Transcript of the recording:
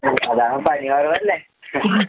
ഉം അതാണ് പണി കൊറവല്ലേ?